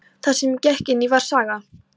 Það sem ég gekk inn í var saga.